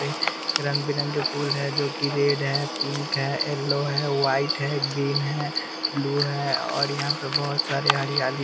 रंग-बिरंगे फूल है जो कि रेड है पिंक है येलो है वाइट है ग्रीन है ब्लू है और यहाँ पे बहुत सारे हरियाली --